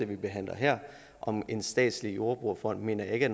vi behandler her om en statslig jordbrugerfond mener jeg ikke